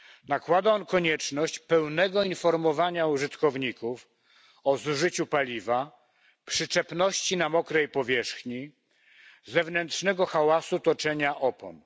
Nakłada on konieczność pełnego informowania użytkowników o zużyciu paliwa, przyczepności na mokrej powierzchni, zewnętrznego hałasu toczenia opon.